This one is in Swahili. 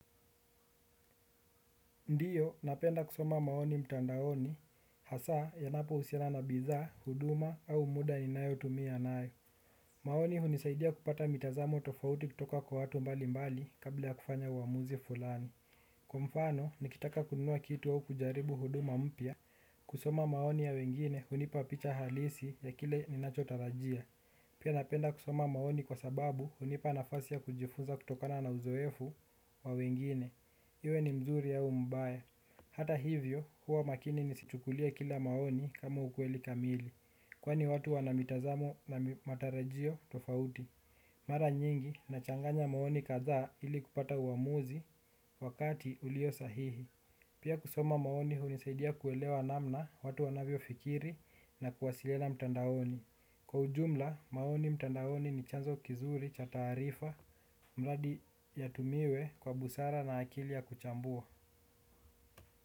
Ndiyo, napenda kusoma maoni mtandaoni, hasa yanapohusiana na bidhaa, huduma au muda ninayotumia nayo. Maoni hunisaidia kupata mitazamo tofauti kutoka kwa watu mbali mbali kabla ya kufanya uamuzi fulani. Kwa mfano, nikitaka kununua kitu au kujaribu huduma mpya, kusoma maoni ya wengine hunipa picha halisi ya kile ninachotarajia. Pia napenda kusoma maoni kwa sababu hunipa nafasi ya kujifunza kutokana na uzoefu wa wengine. Iwe ni mzuri au mbaya. Hata hivyo, huwa makini nisichukulie kila maoni kama ukweli kamili. Kwani watu wana mitazamo na matarajio tofauti. Mara nyingi, nachanganya maoni kadhaa ili kupata uamuzi wakati ulio sahihi. Pia kusoma maoni hunisaidia kuelewa namna watu wanavyofikiri na kuwasiliana mtandaoni. Kwa ujumla, maoni mtandaoni ni chanzo kizuri cha taarifa mradi yatumiwe kwa busara na akili ya kuchambua.